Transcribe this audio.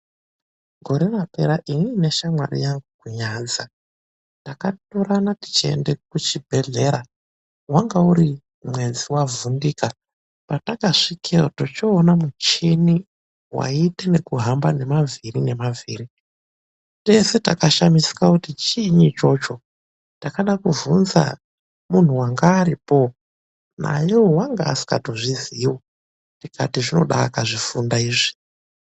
Gore rapera inini neshamwari yangu takatorana tichiende kuchibhedhlera. Wanga uri mwedzi wavhundika. Patakasvikeyo tochoona muchini waiita nekuhamba nemavhiri nemavhiri, tese takashamisika kuti chiini ichocho, takada kuvhunza mundu wanga aripoo, naeyo anga asingazviziviwo tikati zvoda akazvifunda izvi.